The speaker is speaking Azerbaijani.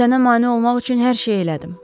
Sənə mane olmaq üçün hər şey elədim.